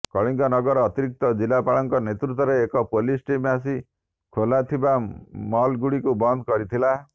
କଳିଙ୍ଗନଗର ଅତିରିକ୍ତ ଜିଲ୍ଲାପାଳଙ୍କ ନେତୃତ୍ବରେ ଏକ ପୋଲିସ ଟିମ୍ ଆସି ଖୋଲାଥିବା ମଲ୍ଗୁଡିକୁ ବନ୍ଦ କରିଥିଲା